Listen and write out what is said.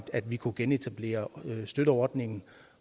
vi kunne genetablere støtteordningen